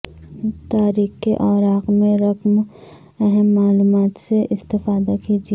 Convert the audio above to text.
تاریخ کے اوراق میں رقم اہم معلومات سے استفادہ کیجیے